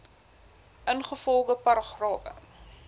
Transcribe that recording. ingevolge paragrawe